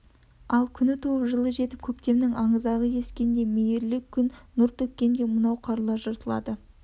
ал күні туып жылы жетіп көктемнің аңызағы ескенде мейірлі күн нұр төккенде мынау қарлар жыртылады